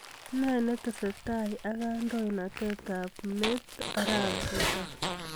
Ne netesetai ak kandoindetab meet arap ruto